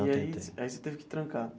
Não tentei. Aí aí você teve que trancar.